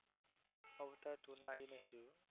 અવતાર ટુ તો આવ્યું નથી